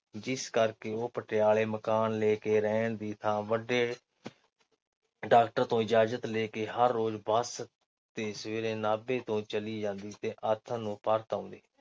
ਜਿਸ ਕਰਕੇ ਉਹ ਪਟਿਆਲੇ ਮਕਾਨ ਲੈ ਕੇ ਰਹਿਣ ਦੀ ਥਾਂ ਵੱਡੇ ਡਾ. ਤੋਂ ਇਜਾਜ਼ਤ ਲੈ ਕੇ ਹਰ-ਰੋਜ਼ ਬੱਸ ਤੇ ਸਵੇਰੇ ਨਾਭੇ ਨੂੰ ਚਲੀ ਜਾਂਦੀ ਤੇ ਆਥਣ ਨੂੰ ਪਰਤ ਆਉਂਦੀ।